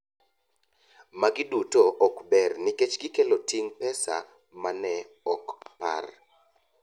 Magi duto ok ber nikech gikelo ting’ pesa mane ok par.